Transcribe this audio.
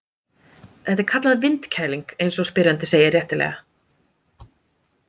Þetta er kallað vindkæling eins og spyrjandi segir réttilega.